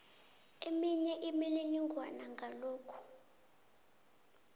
eminye imininingwana ngalokhu